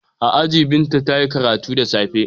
A aji Binta ta yi karatu da safe.